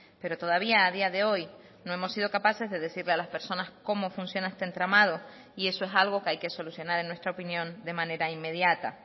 pero todavía a día de hoy no hemos sido capaces de decirle a las personas cómo funciona este entramado y eso es algo que hay que solucionar en nuestra opinión de manera inmediata